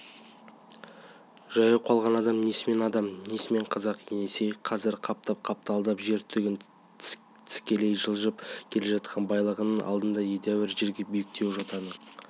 жаяу қалған адам несімен адам несімен қазақ есеней қазір қаптап-қапталдап жер түгін тістелей жылжып келе жатқан байлығының алдында едәуір жерде биіктеу жотаның